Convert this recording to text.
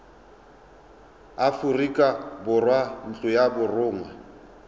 aforika borwa ntlo ya borongwa